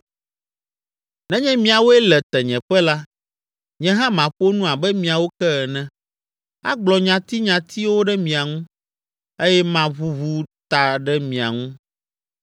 Nenye miawoe le tenyeƒe la, nye hã maƒo nu abe miawo ke ene, agblɔ nyatinyatiwo ɖe mia ŋu eye maʋuʋu ta ɖe mia ŋu.